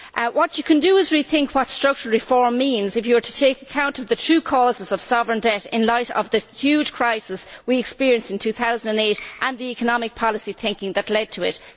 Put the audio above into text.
What you can do is rethink what structural reform would mean if you were to take account of the true causes of sovereign debt in light of the huge crisis we experienced in 2008 and the economic policy thinking that led to it.